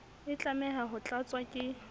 e tlameha ho tlatswa ke